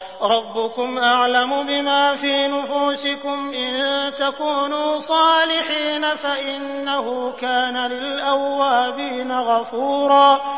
رَّبُّكُمْ أَعْلَمُ بِمَا فِي نُفُوسِكُمْ ۚ إِن تَكُونُوا صَالِحِينَ فَإِنَّهُ كَانَ لِلْأَوَّابِينَ غَفُورًا